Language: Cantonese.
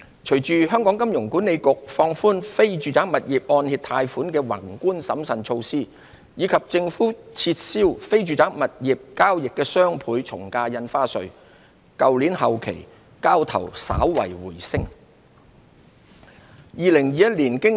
隨着香港金融管理局放寬非住宅物業按揭貸款的宏觀審慎措施，以及政府撤銷非住宅物業交易的雙倍從價印花稅，去年後期交投稍為回升。